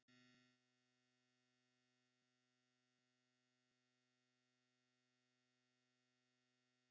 Kristján Már: Finnst þér líklegt að þú fáir tækifæri núna?